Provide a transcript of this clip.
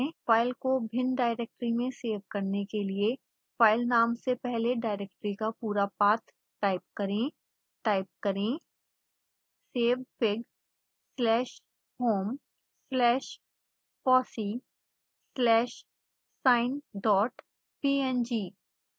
file को भिन्न directory में सेव करने के लिए फ़ाइल नाम से पहले डाइरेक्टरी का पूरा पाथ टाइप करें